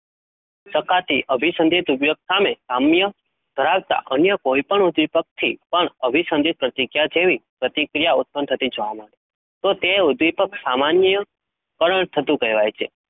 શકાતી, અભિ સંદિય વ્યથાને, સામ્ય ધરાવતા અન્ય કોઈ દ્રીપક થી, પણ અભી સંઘ્યા, પ્રકિર્યા જેવી પ્રતિક્રિયા જોવા મળે છે? તો તે દીપક સામન્ય, થતું કેહવાય છે?